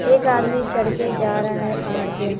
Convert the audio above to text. एक आदमी चढ़ के जा रहा है पहाड़ पे--